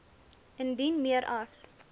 indien meer as